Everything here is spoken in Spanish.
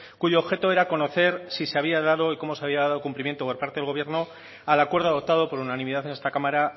cuyo objeto era conocer si se había dado y cómo se había dado el cumplimiento por parte del gobierno al acuerdo adoptado por unanimidad en esta cámara